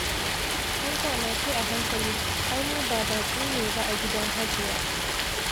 Ai da ma sai a hankali, ai mu ba baƙi ne ba a gidan Hajiya.